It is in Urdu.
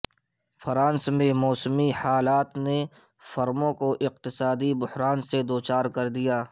فرانس میں موسمی حالات نے فرموں کو اقتصادی بحران سے دو چار کر دیا